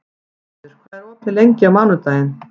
Gunnfríður, hvað er opið lengi á mánudaginn?